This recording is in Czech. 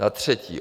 Za třetí.